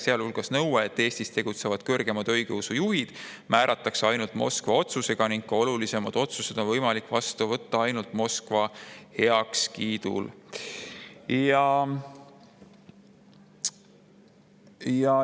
Seal hulgas on ka nõue, et Eestis tegutsevad kõrgemad õigeusujuhid määratakse ainult Moskva otsusega ning ka olulisemad otsused on võimalik vastu võtta ainult Moskva heakskiidul.